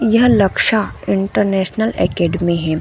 यह Laksha international academy है।